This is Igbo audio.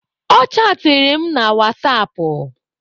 Ọ chaatịrị m na wasapụ.